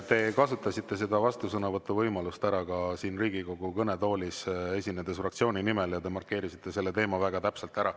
Te kasutasite selle vastusõnavõtu võimaluse ära siin Riigikogu kõnetoolis, esinedes fraktsiooni nimel, ja te markeerisite selle teema väga täpselt ära.